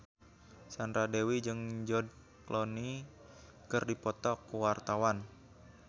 Sandra Dewi jeung George Clooney keur dipoto ku wartawan